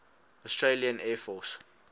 australian air force